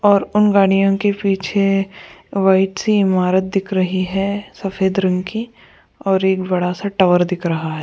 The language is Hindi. और उन गाड़ियों के पीछे ए वाइट सी इमारत दिख रही है सफेद रंग की और एक बड़ा सा टावर दिख रहा है।